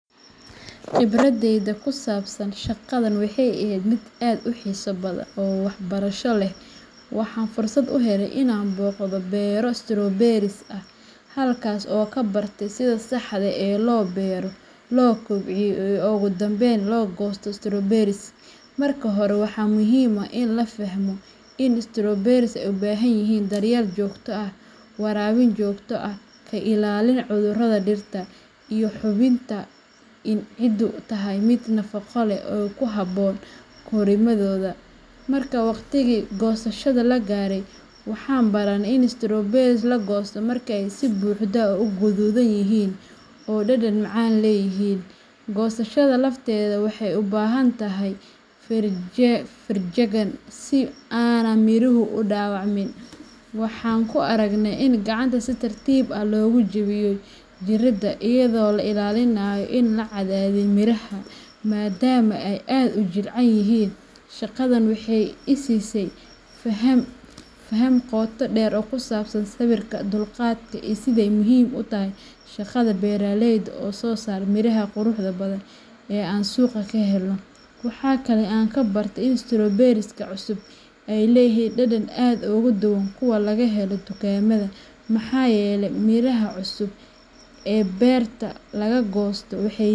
Khibradeyda ku saabsan shaqadan waxay ahayd mid aad u xiiso badan oo waxbarasho leh. Waxaan fursad u helay inaan booqdo beero strawberries ah, halkaas oo aan ka bartay sida saxda ah ee loo beero, loo kobciyo, iyo ugu dambeyn loo goosto strawberries. Marka hore, waxaa muhiim ah in la fahmo in strawberries ay u baahan yihiin daryeel joogto ah: waraabin joogto ah, ka ilaalin cudurrada dhirta, iyo hubinta in ciiddu tahay mid nafaqo leh oo ku habboon korriimadooda. Markii waqtigii goosashada la gaaray, waxaan baranay in strawberries la goosto marka ay si buuxda u gaduudan yihiin oo dhadhan macaan leeyihiin. Goosashada lafteeda waxay u baahan tahay feejignaan si aanay miruhu u dhaawacmin. Waxaan ku aragnay in gacanta si tartiib ah loogu jebiyo jirida, iyadoo la ilaalinayo in aan la cadaadin miraha, maadaama ay aad u jilicsan yihiin. Shaqadan waxay ii siisay faham qoto dheer oo ku saabsan sabirka, dulqaadka, iyo sida ay muhiim u tahay shaqada beeraleyda oo soo saara miraha quruxda badan ee aan suuqa ka helno. Waxa kale oo aan baranay in strawberries cusub ay leeyihiin dhadhan aad uga duwan kuwa laga helo dukaamada, maxaa yeelay miraha cusub ee beerta laga goosto waxay.